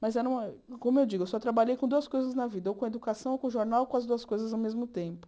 Mas eu não, como eu digo, eu só trabalhei com duas coisas na vida, ou com educação, ou com jornal, ou com as duas coisas ao mesmo tempo.